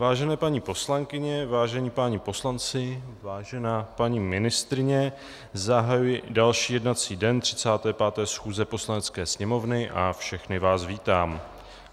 Vážené paní poslankyně, vážení páni poslanci, vážená paní ministryně, zahajuji další jednací den 35. schůze Poslanecké sněmovny a všechny vás vítám.